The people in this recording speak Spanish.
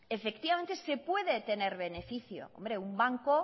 efectivamente se puede tener beneficio hombre un banco